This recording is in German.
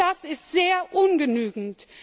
Auch das ist sehr ungenügend!